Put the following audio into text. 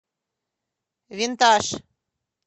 винтаж